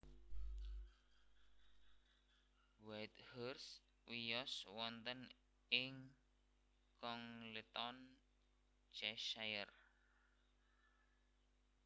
Whitehurst wiyos wonten ing Congleton Cheshire